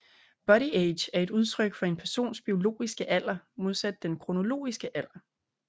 Bodyage er et udtryk for en persons biologiske alder modsat den kronologiske alder